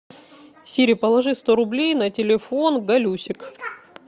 сири положи сто рублей на телефон галюсик